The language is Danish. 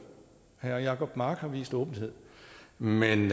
herre jacob mark har vist åbenhed men